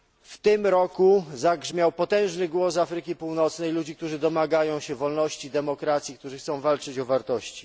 W tym roku zagrzmiał potężny głos ludzi z Afryki Północnej, którzy domagają się wolności, demokracji, którzy chcą walczyć o wartości.